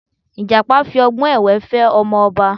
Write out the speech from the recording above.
Ìjàpá fi ọgbọ́n èwé fẹ́ ọmọ ọba